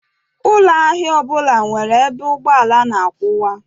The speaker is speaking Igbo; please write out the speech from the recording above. Ụlọ ahịa ọbụla nwere ebe ụgbọala na-akwụwa.